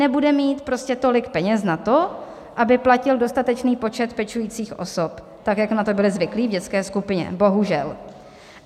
Nebude mít prostě tolik peněz na to, aby platil dostatečný počet pečujících osob tak, jak na to byli zvyklí v dětské skupině, bohužel.